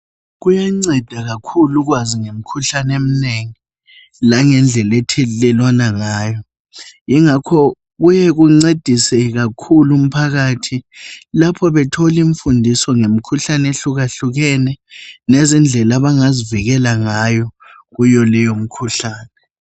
Kuyanceda kakhulu ukwazi ngemikhuhlane eminengi langendlela ethelelwana ngayo. Yingakho kuyekuncedise kakhulu umphakathi lapho betholi mfundiso ngemikhuhlane eyehlukehlukeneyo, lezindlela abangazivikela ngayo kuyo leyo mikhuhlane.